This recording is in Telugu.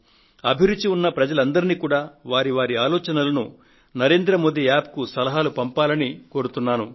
అభిరుచి ఉన్న ప్రజలందరినీ కూడా వారి వారి ఆలోచనలను నరేంద్ర మోది App కు సలహాలు పంపండని విజ్ఞప్తి చేస్తున్నాను